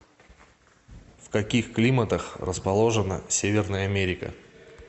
в каких климатах расположена северная америка